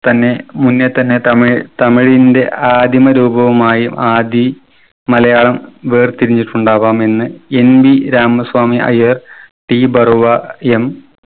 തന്നെ മുന്നേ തന്നെ തമിഴ് തമിഴിന്റെ ആദിമ രൂപമായും ആദി മലയാളം വേർതിരിഞ്ഞിട്ടുണ്ടാവാമെന്ന് NV രാമസ്വാമി അയ്യർ തീപർവ M